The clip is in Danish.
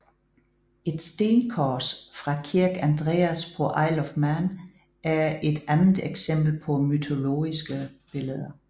Et stenkors fra Kirk Andreas på Isle of Man er et andet eksempel på mytologiske billeder